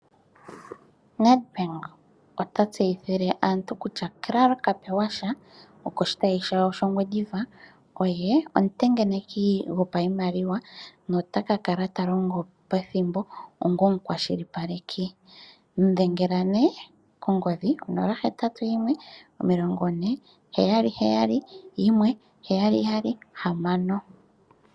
NedBank ota tseyithile aantu kutya Karl Kapewasha okoshitayi shawo shaNgwediva oye omutengeneki gopaimaliwa nota kakala talongo pethimbo ongo omukwashilipaleki, mu dhengela nee kongodhi 081 4771776.